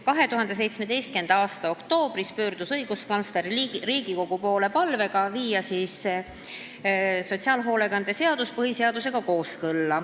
2017. aasta oktoobris pöördus õiguskantsler Riigikogu poole palvega viia sotsiaalhoolekande seadus põhiseadusega kooskõlla.